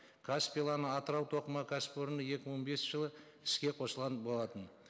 каспий лана атырау тоқыма кәсіпорны екі мың бесінші жылы іске қосылған болатын